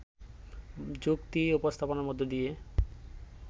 যুক্তি উপস্থাপনের মধ্য দিয়ে